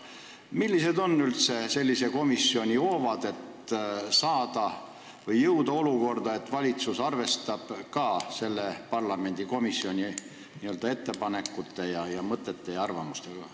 Millised on üldse sellise komisjoni hoovad, et jõuda olukorda, kus valitsus arvestab ka tema ettepanekuid, mõtteid ja arvamusi?